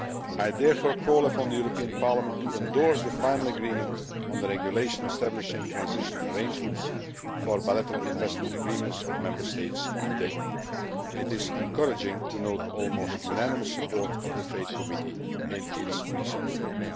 I therefore call upon the European Parliament to endorse the final agreement on the regulation establishing transitional arrangements for bilateral investment agreements of Member States today. It is encouraging to note almost unanimous support of the International Trade Committee in its recent vote.